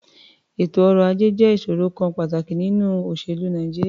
Ètò ọrọ̀-ajẹ́ jẹ́ ìṣòrò kan pàtàkì nínú òṣèlú Nàìjíríà.